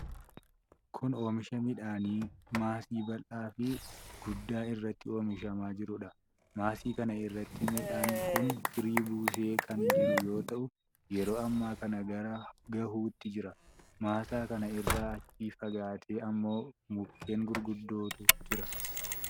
Kun oomisha midhaanii maasii bal'aa fi guddaa irratti oomishamaa jiruudha. Maasii kana irratti midhaan kun firii buusee kan jiru yoo ta'u, yeroo ammaa kana gara gahuutti jira. Maasaa kana irraa achi fagaatee ammoo mukkeen gurguddootu jira.